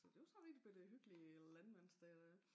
Så det var sådan rigtig bette hyggelig landmandsdag dér